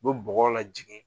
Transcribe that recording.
U be bɔgɔ la jigin